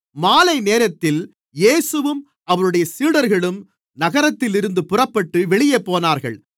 மாலைநேரத்தில் இயேசுவும் அவருடைய சீடர்களும் நகரத்திலிருந்து புறப்பட்டு வெளியே போனார்கள்